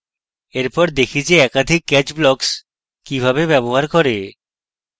এরপর দেখি যে একাধিক catch blocks কিভাবে ব্যবহার করে